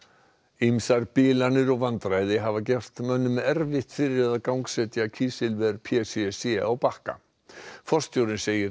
ýmsar bilanir og vandræði hafa gert mönnum erfitt fyrir við að gangsetja kísilver p c c á Bakka forstjórinn segir